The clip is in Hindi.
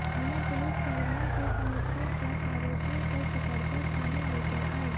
अन्य पुलिसकर्मियों के पहुंचने पर आरोपियों को पकड़कर थाने लेकर आए